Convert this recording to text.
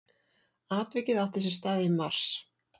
Atvikið átti sér stað í mars